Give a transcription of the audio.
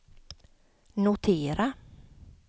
notera